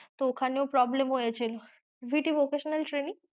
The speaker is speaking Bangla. তো ওক্ষাণেও problem হয়েছে, VTvocational training